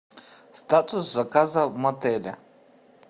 статус заказа в мотеле